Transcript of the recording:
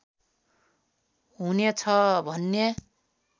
हुनेछ भन्ने